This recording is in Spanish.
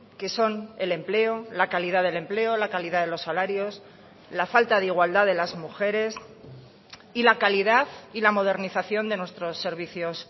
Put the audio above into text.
que son el empleo la calidad del empleo la calidad de los salarios la falta de igualdad de las mujeres y la calidad y la modernización de nuestros servicios